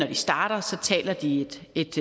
de starter taler de et